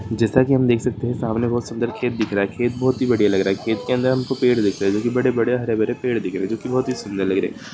जैसा की हम दे सकते है सामने बहुत सुन्दर खेत दिख रहा है खेत बहुत ही बढ़िया लग रहा है खेत के अंदर हम को पेड़ दिख रहा है जो की बड़े बड़े हरे भरे दिख रहे है जो बहुत सुन्दर लग रहे है।